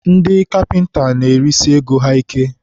ndị kapịnta na-erisi ego ha ike.